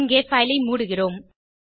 இங்கே பைல் ஐ மூடுகிறோம்